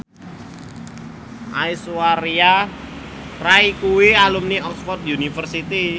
Aishwarya Rai kuwi alumni Oxford university